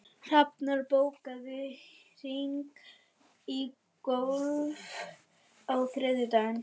Hrafnar, bókaðu hring í golf á þriðjudaginn.